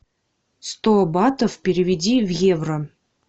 сто батов переведи в евро